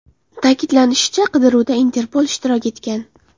Ta’kidlanishicha, qidiruvda Interpol ishtirok etgan.